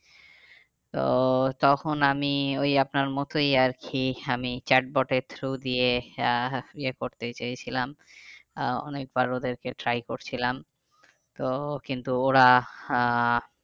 তো তখন আমি ওই আপনার মতোই আর কি আমি chatbot এর through দিয়ে আহ ইয়ে করতে চেয়েছিলাম আহ অনেকবার ওদেরকে try করছিলাম। তো কিন্তু ওরা আহ